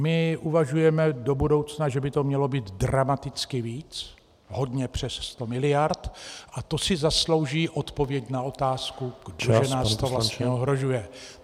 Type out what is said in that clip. My uvažujeme do budoucna, že by to mělo být dramaticky víc, hodně přes 100 miliard, a to si zaslouží odpověď na otázku , kdo nás to vlastně ohrožuje.